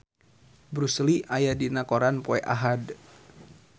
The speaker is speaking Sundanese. Bruce Lee aya dina koran poe Ahad